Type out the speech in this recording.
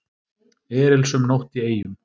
Erilsöm nótt í Eyjum